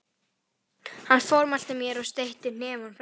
Hann formælti mér og steytti hnefann framan í mig.